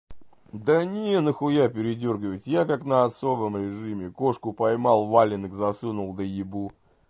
да не нахуя передёргивать я как на особом режиме кошку поймал валенок засунул да ебу